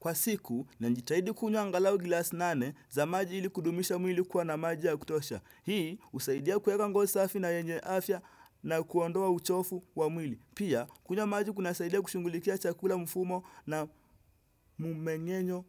Kwa siku, ninajitahidi kunywa angalau glass nane za maji ili kudumisha mwili kuwa na maji ya kutosha. Hii, usaidia kueka ngozi safi na yenye afya na kuondoa uchofu wa mwili. Pia, kunywa maji kuna saidia kushunghulikia chakula mfumo na mumengenyo